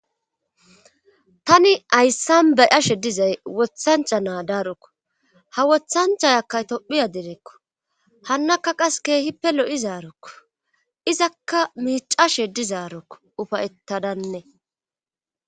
tani hayssan be ashe dizay wothancha naa daarokko ha wothanchayakkaytophiya direekko hannakka qas keehippe lo7izaarokko izakka miicashe dizaarokko ufayettadane